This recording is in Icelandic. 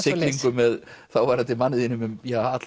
siglingu með þáverandi manni þínum um